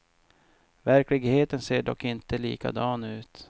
Verkligheten ser dock inte likadan ut.